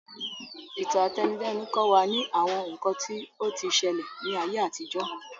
Ìtàn àtẹnudẹ́nu kọ́ wa ní àwọn nǹkan tí o ti ṣẹlẹ̀ ní ayé àtijó